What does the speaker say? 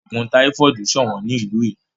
Ogun táífọ́ọ̀dù sọ̀wọ́n ní ìlú yìí.